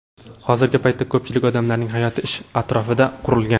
Hozirgi paytda ko‘pchilik odamlarning hayoti ish atrofida qurilgan.